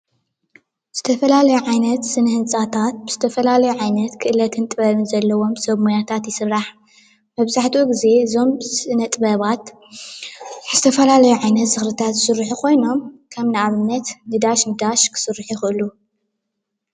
ዝተፈላለዩ ዓይነት ስነ ህንፃታት ብዝተፈላለዩ ክእለትን ጥበብን ዘለዎም ሰብ ሞያታት ይስራሕ፡፡ መብዛሕትኡ ግዜ እዞም ስነ -ጥበባት ዝተፈላለዩ ዓይነታት ዝክሪ ዝስርሑ ኮይኖም ከም ንኣብነት ን----ን---- ክስርሑ ይክእሉ፡፡